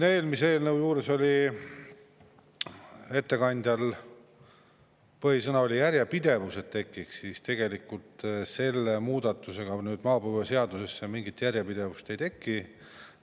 Eelmise eelnõu juures oli ettekandjal põhisõna "järjepidevus", et see tekiks, aga maapõueseaduse selle muudatusega mingit järjepidevust ei teki.